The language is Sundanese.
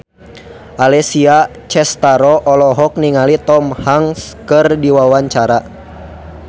Alessia Cestaro olohok ningali Tom Hanks keur diwawancara